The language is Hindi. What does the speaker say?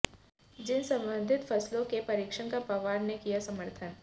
जीन संवर्द्धित फसलों के परीक्षण का पवार ने किया समर्थन